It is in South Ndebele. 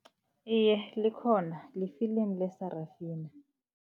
Iye likhona li-film leSarafina.